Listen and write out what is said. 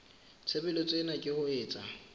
tshebeletso ena ke ho etsa